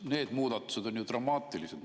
Need muudatused on ju dramaatilised.